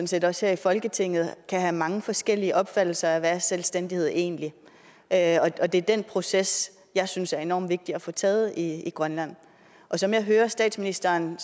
set også her i folketinget kan have mange forskellige opfattelser af hvad selvstændighed egentlig er og det er den proces jeg synes er enormt vigtig at få taget i grønland som jeg hører statsministeren